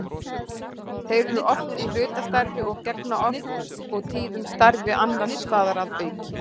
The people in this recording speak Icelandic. Þeir eru oft í hlutastarfi og gegna oft og tíðum starfi annars staðar að auki.